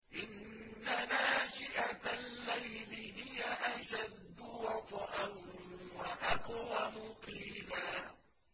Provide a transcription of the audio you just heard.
إِنَّ نَاشِئَةَ اللَّيْلِ هِيَ أَشَدُّ وَطْئًا وَأَقْوَمُ قِيلًا